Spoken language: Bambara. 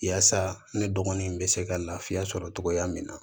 Yaasa ne dɔgɔnin in bɛ se ka lafiya sɔrɔ cogoya min na